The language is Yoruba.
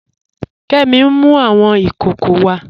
Kẹmì n mú awọn ikòkò wà.